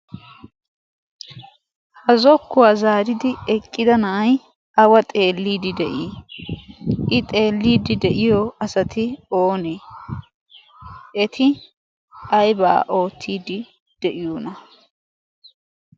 ha zokkuwaa zaaridi eqqida na'ay awa xeelliidi de'ii? i xeelliidi de'iyo asati oonee? eti aybaa oottiidi de'iyoona?